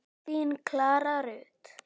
Þín Klara Rut.